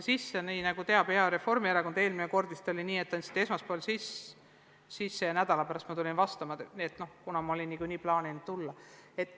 Lisaks, nagu teab hea Reformierakond, oli eelmine kord vist nii, et te andsite arupärimise sisse esmaspäeval ja juba nädala pärast tulin ma vastama, kuna ma olin niikuinii plaaninud tulla.